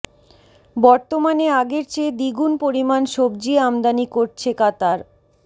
বর্তমানে আগের চেয়ে দ্বিগুণ পরিমাণ সবজি আমদানি করছে কাতার